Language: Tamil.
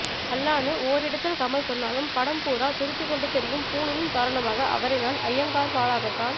அல்லான்னு ஓரிடத்தில் கமல் சொல்லாலும் படம் பூரா துருத்திக் கொண்டு தெரியும் பூணூலின் காரணமாக அவரை நான் அய்யங்கார்வாலாகத்தான்